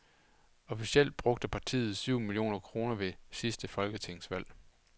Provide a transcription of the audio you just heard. Officielt brugte partiet syv millioner kroner ved det sidste folketingsvalg.